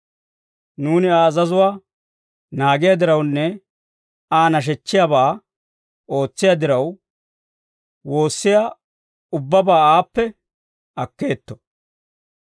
Nuuni Aa azazuwaa naagiyaa dirawunne Aa nashechchiyaabaa ootsiyaa diraw, woossiyaa ubbabaa aappe akkeetto.